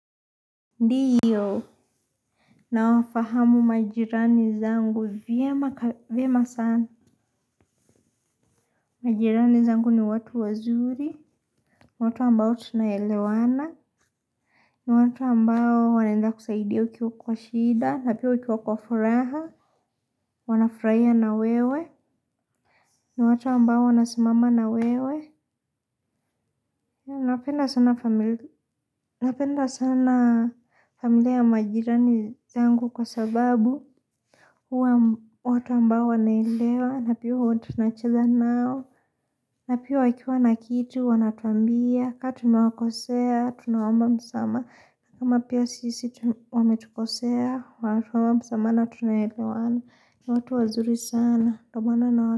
Ndiyo, nawafahamu majirani zangu vyema sana. Majirani zangu ni watu wazuri, watu ambao tunaelewana, ni watu ambao wanaenda kusaidia ukiwa kwa shida, na pia ukiwa kwa furaha, wanafurahia na wewe, ni watu ambao wanasimama na wewe. Napenda sana familia ya majirani zangu kwa sababu huwa watu ambao wanaelewa. Na pia huwa tunacheza nao. Na pia wakiwa na kitu wanatuambia ka tumewakosea tunaomba msamaha na kama pia sisi wametukosea wanatuomba msamaha na tunaelewana. Ni watu wazuri sana ndio maana nawa.